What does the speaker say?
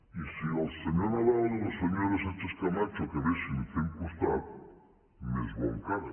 i si el senyor nadal i la senyora sánchez camacho acabessin fent costat més bo encara